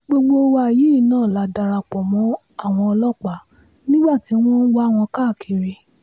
gbogbo wa yìí náà la dara pọ̀ mọ́ àwọn ọlọ́pàá nígbà tí wọ́n ń wá wọn káàkiri